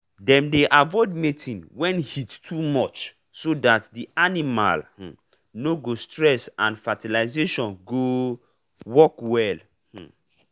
dem dey avoid mating when heat too much so that the animal um no go stress and fertilisation go um work well. um